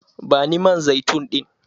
Bani man zaitun ɗin!